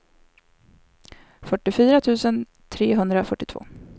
fyrtiofyra tusen trehundrafyrtiotvå